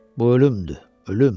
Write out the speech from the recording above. Bu ölümdür, ölüm!